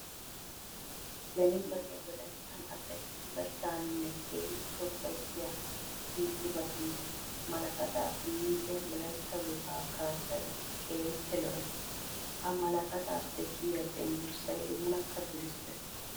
Beni wode wolayttan asay bullachchaninne keehippe ufayssiya issi issibattun malkkatta punniyoode wolaytta wogaa kaassay keehippe lo'ees. Ha malkkattappe kiyiya cenggurssay oonakka durissees.